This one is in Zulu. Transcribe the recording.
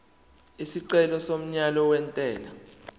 isicelo somyalo wentela